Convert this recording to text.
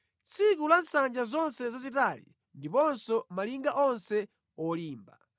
tsiku la nsanja zonse zazitali ndiponso malinga onse olimba,